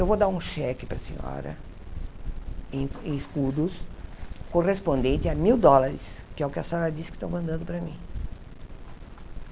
Eu vou dar um cheque para a senhora, em em escudos, correspondente a mil dólares, que é o que a senhora disse que estão mandando para mim.